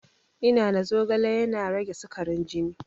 Ina na zogale yana rage sikarin jini